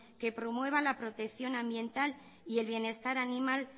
que promuevan la protección ambiental y el bienestar animal